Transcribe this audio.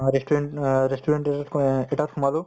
restaurant আহ restaurant এটাত সোমালো